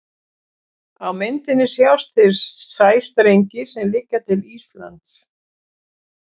Á myndinni sjást þeir sæstrengir sem liggja til Íslands.